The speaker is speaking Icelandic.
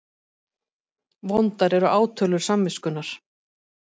Vondar eru átölur samviskunnar.